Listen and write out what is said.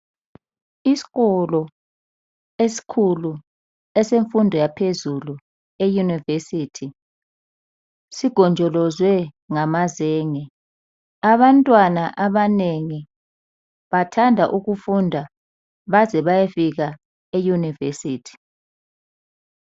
Iskolo esikhulu esemfundo yaphezulu e univesithi, sigonjolozwe ngamazenge , Abantwana abanengi bathanda ukufunda baze bayofika e univesithi